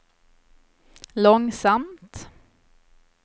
långsamt